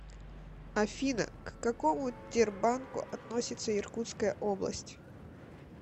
афина к какому тербанку относится иркутская область